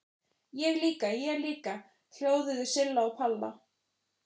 Ég líka, ég líka!!! hljóðuðu Silla og Palla.